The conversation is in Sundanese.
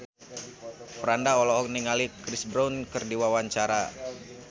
Franda olohok ningali Chris Brown keur diwawancara